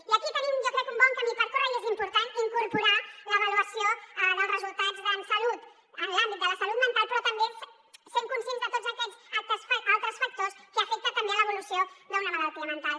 i aquí tenim jo crec un bon camí per córrer i és important incorporar hi l’avaluació dels resultats en salut en l’àmbit de la salut mental però també sent conscients de tots aquests altres factors que afecten també l’evolució d’una malaltia mental